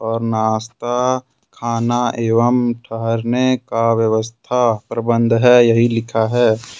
और नाश्ता खाना एवं ठहरने का प्रबंध है यही लिखा है।